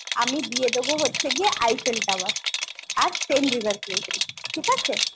আমি দিয়ে দেবো হচ্ছে গিয়ে Eiffel Tower আর seine river cruise ঠিক আছে?